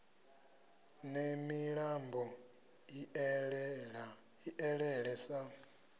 ne milambo i elele sa